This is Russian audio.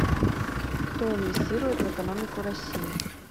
кто инвестирует в экономику россии